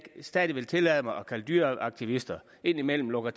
stadig vil tillade mig at kalde dyreaktivister indimellem lukker